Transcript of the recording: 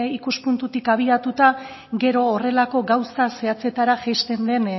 ikuspuntutik abiatuta gero horrelako gauza zehatzetara jaisten den